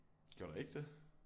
Gjorde der ikke det